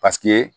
Paseke